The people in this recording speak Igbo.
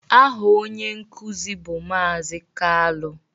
Aha onye nkuzi bụ Maazị Kalu